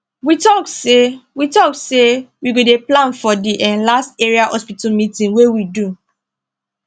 we talk say we talk say we go dey plan for the um last area hospital meeting wey we do